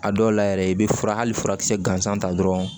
A dɔw la yɛrɛ i bɛ fura hali furakisɛ gansan ta dɔrɔn